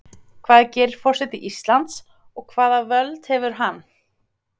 Hvað gerir forseti Íslands og hvaða völd hefur hann?.